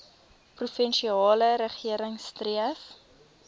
provinsiale regering streef